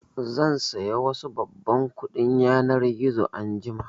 Zan saya wasu babban kuɗin yanar gizo anjima